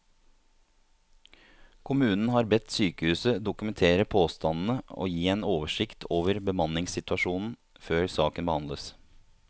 Kommunen har bedt sykehuset dokumentere påstandene og gi en oversikt over bemanningssituasjonen før saken behandles.